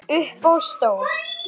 Upp á stól